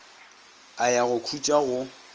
a ya go khutša go